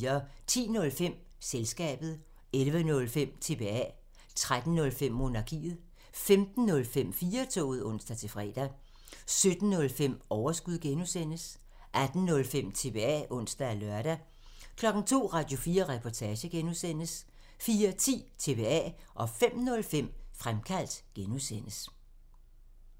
10:05: Selskabet 11:05: TBA 13:05: Monarkiet 15:05: 4-toget (ons-fre) 17:05: Overskud (G) 18:05: TBA (ons og lør) 02:00: Radio4 Reportage (G) 04:10: TBA 05:05: Fremkaldt (G)